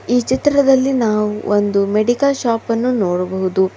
ಈ ಚಿತ್ರದಲ್ಲಿ ನಾವು ಒಂದು ಮೆಡಿಕಲ್ ಶಾಪ್ ಅನ್ನು ನೋಡಬಹುದು.